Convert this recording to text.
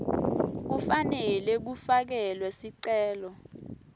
kufanele kufakelwe sicelo